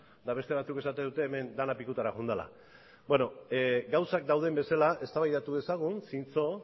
eta beste batzuk esaten dute hemen dena pikutara joan dela gauzak dauden bezala eztabaidatu dezagun zintzo